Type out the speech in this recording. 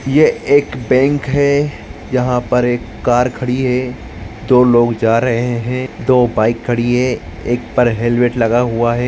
ये एक बैंक है यहा पर एक कार खड़ी है दो लोग जा रहे है दो बाइक खड़ी है एक पर हेल्मेट लगा हुआ है।